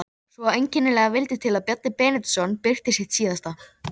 Svo einkennilega vildi til að Bjarni Benediktsson birti sitt síðasta